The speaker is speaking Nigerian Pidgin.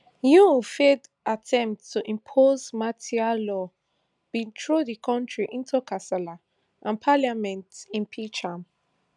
yoon failed attempt to impose martial law bin throw di kontri into kasala and parliament impeach am